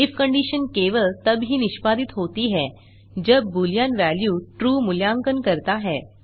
if condition केवल तब ही निष्पादित होती है जब बूलियन वेल्यू ट्रू मूल्यांकन करता है